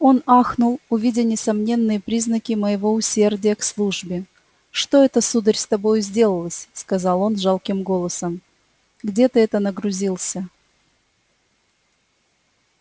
он ахнул увидя несомненные признаки моего усердия к службе что это сударь с тобою сделалось сказал он жалким голосом где ты это нагрузился